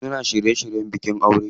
Suna shirye shiryen bikin aure.